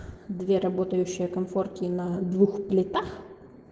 две работающие конфорки на двух плитах